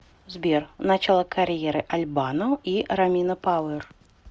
сбер начало карьеры аль бано и ромина пауэр